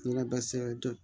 Ɲinɛ dɛsɛ